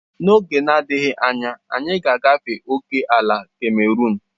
N'oge na-adịghị anya, anyị ga-agafe ókèala Cameruun.